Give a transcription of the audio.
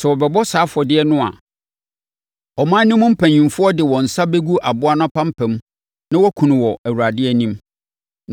Sɛ wɔrebɔ saa afɔdeɛ no a, ɔman no mu mpanimfoɔ de wɔn nsa bɛgu aboa no apampam na wɔakum no wɔ Awurade anim.